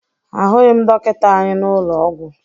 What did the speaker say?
Ahụghị m dọkịta anyị n'ụlọ ọgwụ